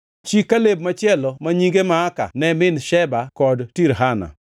Chi Kaleb machielo ma nyinge Maaka ne min Sheba kod Tirhana.